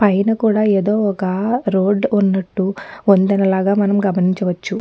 పైన కూడా ఏదో ఒక రోడ్డు ఉన్నటు వంతెనలాగా మనం గమనించవచ్చు.